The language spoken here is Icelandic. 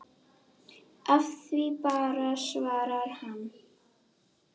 Af því bara svarar hann.